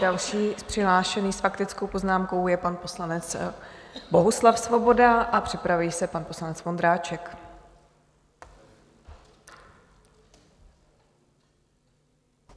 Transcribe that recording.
Další přihlášený s faktickou poznámkou je pan poslanec Bohuslav Svoboda a připraví se pan poslanec Vondráček.